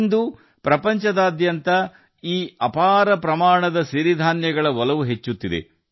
ಇಂದು ಪ್ರಪಂಚದಾದ್ಯಂತ ಈ ಸಿರಿ ಧಾನ್ಯಗಳ ಬಗ್ಗೆ ವ್ಯಾಮೋಹ ಹೆಚ್ಚುತ್ತಿದೆ